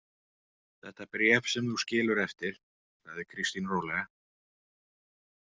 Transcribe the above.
Þetta bréf sem þú skilur eftir, sagði Kristín rólega.